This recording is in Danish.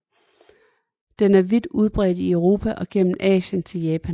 Den er vidt udbredt i Europa og gennem Asien til Japan